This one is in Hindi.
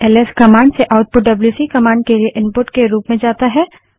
एल एस कमांड से आउटपुट डब्ल्यूसी कमांड के लिए इनपुट के रूप में जाता है